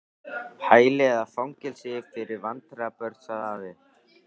Hæli eða fangelsi fyrir vandræða- börn sagði afi.